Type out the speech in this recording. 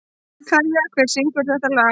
Kæja, hver syngur þetta lag?